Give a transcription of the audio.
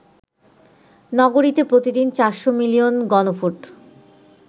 নগরীতে প্রতিদিন ৪০০ মিলিয়ন ঘনফুট